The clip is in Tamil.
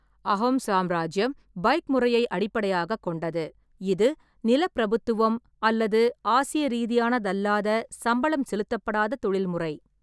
அஹோம் சாம்ராஜ்யம் பாய்க் முறையை அடிப்படையாகக் கொண்டது, இது நிலப்பிரபுத்துவம் அல்லது ஆசிய ரீதியானது அல்லாத சம்பளம் செலுத்தப்படாத தொழில் முறை.